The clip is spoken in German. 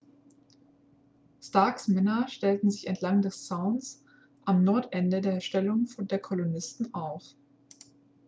starks männer stellten sich entlang des zauns am nordende der stellung der kolonisten auf